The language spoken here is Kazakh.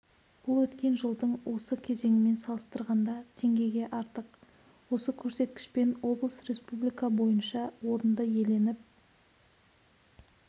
бұл өткен жылдың осы кезеңімен салыстырғанда теңгеге артық осы көрсеткішпен облыс республика бойынша орынды иеленіп